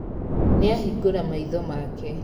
Nĩahingũra maitho make.